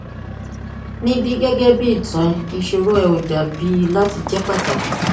nibi gẹgẹbi itan rẹ iṣoro rẹ ko dabi lati jẹ pataki